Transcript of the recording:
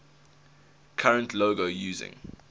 current logo using